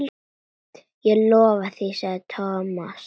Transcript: Ég lofa því sagði Thomas.